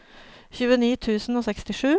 tjueni tusen og sekstisju